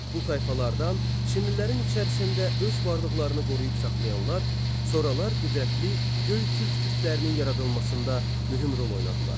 Bu tayfalardan Çinlilərin içərisində öz varlıqlarını qoruyub saxlayanlar sonralar qüdrətli Göytürk türklərinin yaradılmasında mühüm rol oynadılar.